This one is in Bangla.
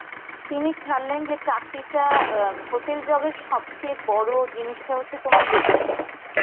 তিনি ছাড়লেন যে চাকরিটা অ্যাঁ hotel job এর সবচেয়ে বড় জিনিসটা হচ্ছে তোমার look.